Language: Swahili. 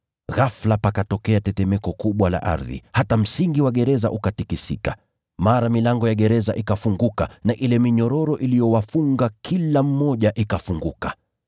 Ghafula pakatokea tetemeko kubwa la ardhi, hata msingi wa gereza ukatikisika. Mara milango ya gereza ikafunguka na ile minyororo iliyowafunga kila mmoja ikafunguka.